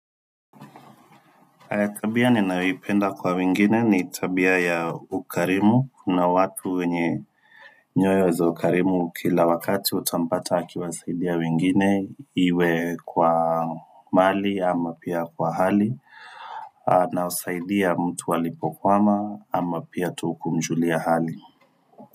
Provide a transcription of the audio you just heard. Kabia ninayoipenda kwa wengine ni tabia ya ukarimu. Kuna watu wenye nyoyo za ukarimu kila wakati utampata akiwasaidia wengine iwe kwa mali ama pia kwa hali. Na husaidia mtu alipokwama ama pia tu kumjulia hali.